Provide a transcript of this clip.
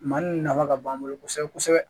Maninka ka b'an bolo kosɛbɛ kosɛbɛ